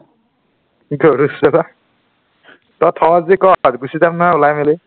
গৰু , তই থও যদি ক গুচি যাম নহয় ওলাই মেলি